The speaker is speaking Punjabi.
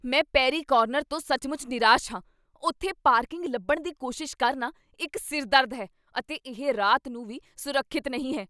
ਮੈਂ 'ਪੇਰੀ ਕਾਰਨਰ' ਤੋਂ ਸੱਚਮੁੱਚ ਨਿਰਾਸ਼ ਹਾਂ। ਉੱਥੇ ਪਾਰਕਿੰਗ ਲੱਭਣ ਦੀ ਕੋਸ਼ਿਸ਼ ਕਰਨਾ ਇੱਕ ਸਿਰ ਦਰਦ ਹੈ, ਅਤੇ ਇਹ ਰਾਤ ਨੂੰ ਵੀ ਸੁਰੱਖਿਅਤ ਨਹੀਂ ਹੈ।